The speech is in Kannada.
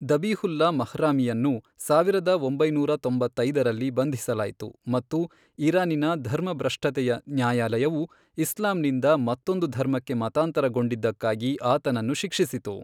ದಬಿಹುಲ್ಲಾ ಮಹ್ರಾಮಿಯನ್ನು ಸಾವಿರದ ಒಂಬೈನೂರ ತೊಂಬತ್ತೈದರಲ್ಲಿ ಬಂಧಿಸಲಾಯಿತು ಮತ್ತು ಇರಾನಿನ ಧರ್ಮಭ್ರಷ್ಟತೆಯ ನ್ಯಾಯಾಲಯವು ಇಸ್ಲಾಂನಿಂದ ಮತ್ತೊಂದು ಧರ್ಮಕ್ಕೆ ಮತಾಂತರಗೊಂಡಿದ್ದಕ್ಕಾಗಿ ಆತನನ್ನು ಶಿಕ್ಷಿಸಿತು.